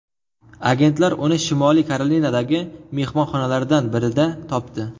Agentlar uni Shimoliy Karolinadagi mehmonxonalardan birida topdi.